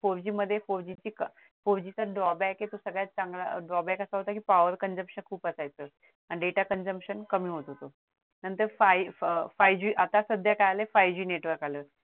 four G मध्ये four G चा drawback आहे तो सगळ्यात चांगला drawback असा होता कि power consumption खूप असायचं आणि data consumption कमी होत होत नंतर five G फाईव्ह आता सध्या काय आलाय five G network आलाय